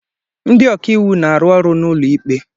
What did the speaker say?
Ndị ọka iwu na-arụ ọrụ n'ụlọikpe.